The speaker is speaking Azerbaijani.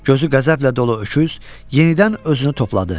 Gözü qəzəblə dolu öküz, yenidən özünü topladı.